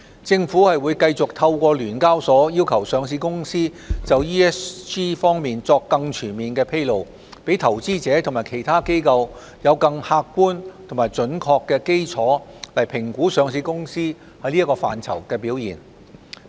政府會繼續透過聯交所要求上市公司就 ESG 方面作更全面披露，讓投資者及其他機構有更客觀及準確的基礎評估上市公司在此範疇的表現。